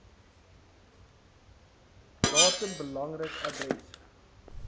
datum belangrik adres